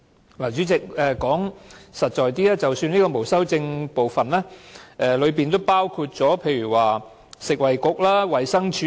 代理主席，說得實在一點，在這個沒有修正案的部分，當中包括了食物及衞生局和衞生署。